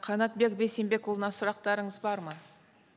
қанатбек бейсенбекұлына сұрақтарыңыз бар ма